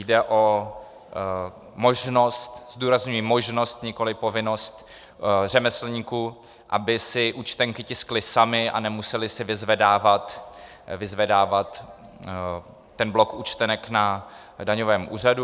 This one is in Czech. Jde o možnost - zdůrazňuji možnost, nikoliv povinnost - řemeslníků, aby si účtenky tiskli sami a nemuseli si vyzvedávat ten blok účtenek na daňovém úřadu.